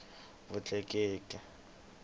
vutleketli